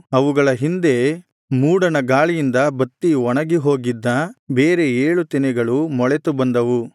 ಅವುಗಳ ಹಿಂದೆ ಮೂಡಣ ಗಾಳಿಯಿಂದ ಬತ್ತಿ ಒಣಗಿ ಹೋಗಿದ್ದ ಬೇರೆ ಏಳು ತೆನೆಗಳು ಮೊಳೆತು ಬಂದವು